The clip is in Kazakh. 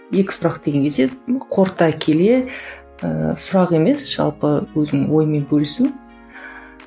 екі сұрақ деген қорыта келе ыыы сұрақ емес жалпы өзінің ойымен бөлісу